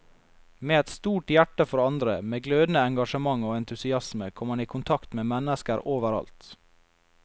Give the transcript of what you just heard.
Med et stort hjerte for andre, med glødende engasjement og entusiasme kom han i kontakt med mennesker overalt.